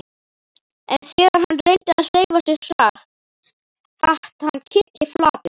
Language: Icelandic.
En þegar hann reyndi að hreyfa sig datt hann kylliflatur.